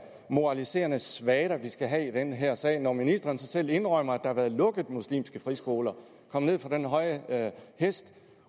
moraliserende svada vi skal have i den her sag når ministeren selv indrømmer at der er blevet lukket muslimske friskoler kom ned fra den høje hest